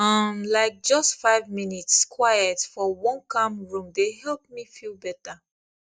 um like just five minutes quiet for one calm room dey help me feel better